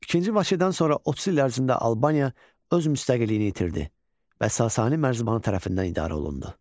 İkinci Vaçedən sonra 30 il ərzində Albaniya öz müstəqilliyini itirdi və Sasani mərzbanı tərəfindən idarə olundu.